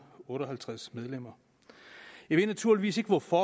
otte og halvtreds medlemmer jeg ved naturligvis ikke hvorfor